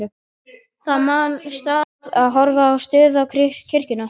Það nam staðar og horfði um stund á kirkjuna.